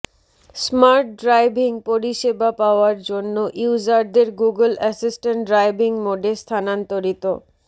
smart driving পরিষেবা পাওয়ার জন্য ইউজারদের গুগল অ্যাসিসট্যান্ট ড্রাইভিং মোডে স্থানান্তরিত